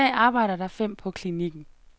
I dag arbejder der fem på klinikken.